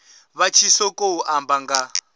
vha tshi ṱoḓou amba nga